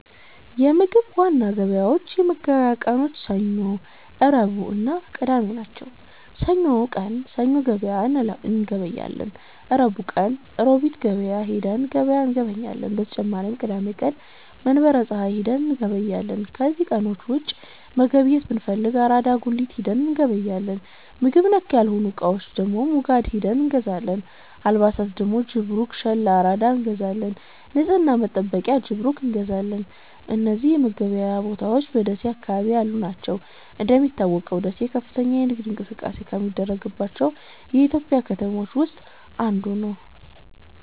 የምግብ ዋና ገበያዎች የመገብያ ቀኖች ሰኞ፣ ረቡዕእና ቅዳሜ ናቸው። ሰኞ ቀን ሰኞ ገበያ እንገበያለን። ረቡዕ ቀን ሮቢት ሂደን ገበያ እንገበያለን። በተጨማሪም ቅዳሜ ቀን መንበረ ፀሀይ ሂደን እንገበያለን። ከነዚህ ቀኖች ውጪ መገብየት ብንፈልግ አራዳ ጉሊት ሂደን እንገበያለን። ምግብ ነክ ያልሆኑ እቃዎች ደግሞ ሙጋድ ሂደን እንገዛለን። አልባሣት ደግሞ ጅብሩክ፣ ሸል፣ አራዳ እንገዛለን። ንፅህና መጠበቂያ ጅብሩክ እንገዛለን። እነዚህ መገበያያ ቦታዎች በደሴ አካባቢ ያሉ ናቸው። እንደሚታወቀው ደሴ ከፍተኛ የንግድ እንቅስቃሴ ከሚደረግባቸው የኢትዮጵያ ከተሞች ውስጥ ናት።